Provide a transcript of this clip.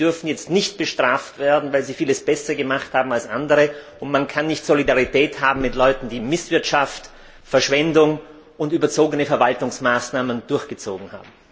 Die dürfen jetzt nicht bestraft werden, weil sie vieles besser gemacht haben als andere, und man kann nicht Solidarität haben mit Leuten, die Misswirtschaft, Verschwendung und überzogene Verwaltungsmaßnahmen betrieben haben.